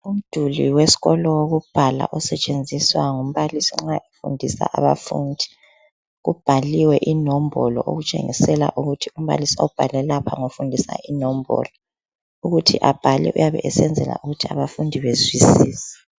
Umduli wesikolo wokubhala osetshenziswa ngumbalisi nxa efundisa abafundi kubhaliwe inombolo okutshengisela ukuthi umbalisi obhale lapha ngofundisa inombolo ukuthi abhale uyabe esenzela ukuthi abafundi bezwisise.